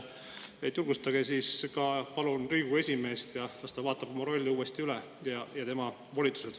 Nii et julgustage palun Riigikogu esimeest, las ta vaatab oma rolli ja volitused uuesti üle.